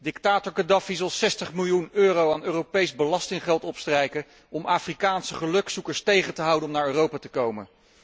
Dictator Khadafi zal 60 miljoen euro aan Europees belastinggeld opstrijken om Afrikaanse gelukzoekers tegen te houden om naar Europa te komen.